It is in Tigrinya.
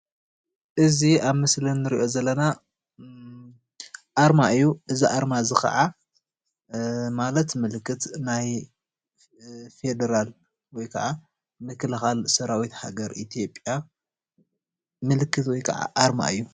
እዚ ኣብ ምስሊ እንሪኦ ዘለና ኣርማ እዩ። እዚ ኣርማ እዚይ ኸዓ አ መለት ምልክት ናይ ፌደራል ወይ ከዓ ምክልኻል ሰራዊት ሃገር ኢትዮጲያ ምልክት ወይ ከዓ ኣርማ እዩ።